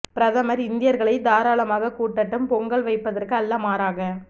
பிரதமர் இந்தியர்களைத் தாராளமாகக் கூட்டட்டும் பொங்கல் வைப்பதற்கு அல்ல மாறாக